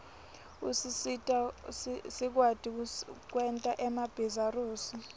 usisita sikwati kwerta emabihzarusi